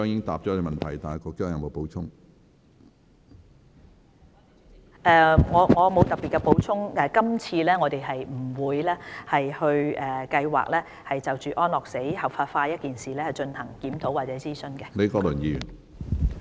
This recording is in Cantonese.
我沒有特別的補充，我們並無計劃在今次的諮詢工作中，就安樂死合法化一事進行檢討或諮詢。